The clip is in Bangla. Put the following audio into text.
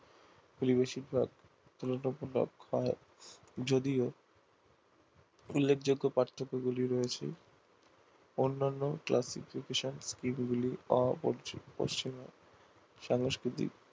তুলনামূলক হয় যদিও উল্লেখযোগ্য পার্থক্য গুলি রয়েছে অন্যান্য classification scheme গুলি সংস্কৃতি